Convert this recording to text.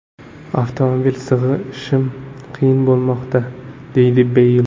Avtomobilga sig‘ishim qiyin bo‘lmoqda”, deydi Beyl.